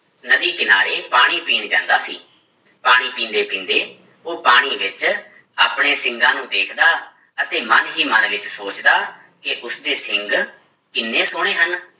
ਨਦੀ ਕਿਨਾਰੇ ਪਾਣੀ ਪੀਣ ਜਾਂਦਾ ਸੀ, ਪਾਣੀ ਪੀਂਦੇ ਪੀਂਦੇ ਉਹ ਪਾਣੀ ਵਿੱਚ ਆਪਣੇ ਸਿੰਗਾਂ ਨੂੰ ਵੇਖਦਾ ਅਤੇ ਮਨ ਹੀ ਮਨ ਵਿੱਚ ਸੋਚਦਾ ਕਿ ਉਸਦੇ ਸਿੰਘ ਕਿੰਨੇ ਸੋਹਣੇ ਹਨ।